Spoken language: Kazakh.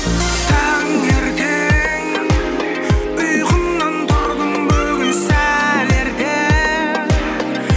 таңертең ұйқымнан тұрдым бүгін сәл ерте